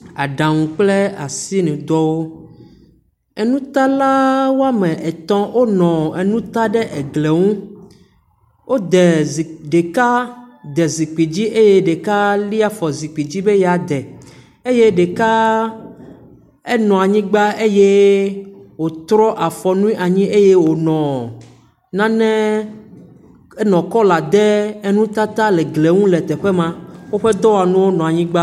Aɖaŋu kple asinudɔwo. Enutalawo etɔ wonɔ enuta ɖe egli nu. Wode zikpui, ɖeka de zikpui dzi eye ɖeka lia afɔ zikpui dzi be ya de eye ɖeka enua anyigbã eye wotrɔ afɔnue anyi eye wonɔ nane, enɔ cɔlɔ de enutata le glie nu le teƒe maa. Woƒe dɔwɔnuwo nɔ anyigbã